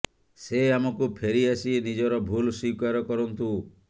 ସେ ଆମକୁ ଫେରି ଆସି ନିଜର ଭୁଲ ସ୍ୱୀକାର କରନ୍ତୁ